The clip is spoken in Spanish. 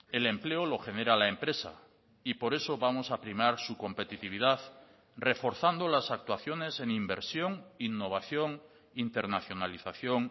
el empleo lo genera la empresa y por eso vamos a primar su competitividad reforzando las actuaciones en inversión innovación internacionalización